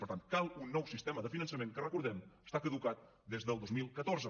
per tant cal un nou sistema de finançament que recordem ho està caducat des del dos mil catorze